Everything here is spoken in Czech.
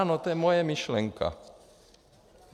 Ano, to je moje myšlenka.